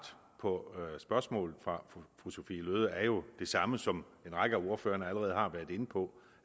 på spørgsmålet fra fru sophie løhde er jo det samme som en række af ordførerne allerede har været inde på